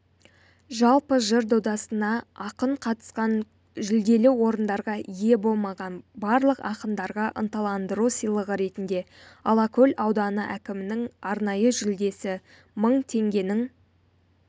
жалпы жыр додасына ақын қатысқан жүлделі орындарға ие болмаған барлық ақындарға ынталандыру сыйлығы ретінде алакөл ауданы әкімінің арнайы жүлдесі мың теңгенің